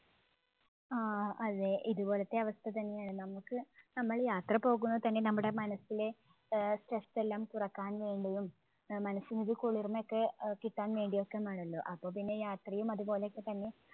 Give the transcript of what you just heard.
ആ അതെ. ഇതുപോലെത്തെ അവസ്ഥ തന്നെയാണ്. നമുക്ക് നമ്മൾ യാത്ര പോകുന്നത് തന്നെ നമ്മുടെ മനസ്സിലെ ആഹ് stress എല്ലാം കുറയ്ക്കാൻ വേണ്ടിയും ആഹ് മനസ്സിന് ഒരു കുളിർമ ഒക്കെ ആഹ് കിട്ടാൻവേണ്ടി ഒക്കെയും ആണല്ലോ. അപ്പോൾ പിന്നെ യാത്രയും അതുപോലെയൊക്കെ തന്നെ